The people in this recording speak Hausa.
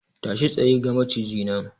Tashi tsaye! ga Maciji nan!